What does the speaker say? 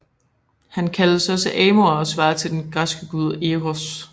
Han kaldes også Amor og svarer til den græske gud Eros